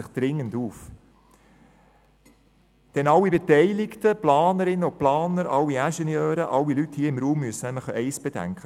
Die beteiligten Planerinnen und Planer, alle Ingenieure und alle Leute hier im Raum müssen eins bedenken: